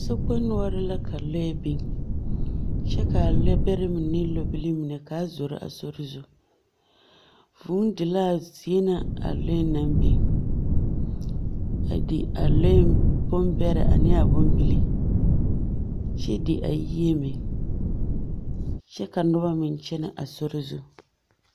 Sokpoŋ noɔreŋ la ka lɔɛ biŋ, kyɛ ka a lɔɔbɛrɛ mine ane lɔɔbilii ka a zoro a sori zu. Vūū di laa zie ŋa a lɔɛ naŋ biŋ, a di a ɔɛ bombɛrɛ ane a bombilii. Kyɛ di a yie meŋ, kyɛ ka noba meŋ kyenɛ a sori zu.